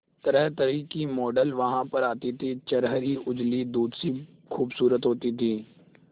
तरहतरह की मॉडल वहां पर आती थी छरहरी उजली दूध सी खूबसूरत होती थी